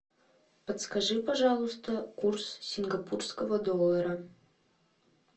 подскажи пожалуйста курс сингапурского доллара